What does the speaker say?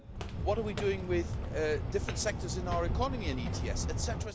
What are we doing with different sectors in our economy on ETS, etc.,